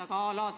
Aitäh!